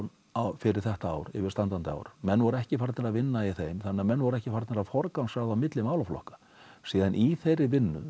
fyrir þetta ár yfirstandandi ár menn voru ekki farnir að vinna í þeim þannig að menn voru ekki farnir að forgangsraða á milli málaflokka síðan í þeirri vinnu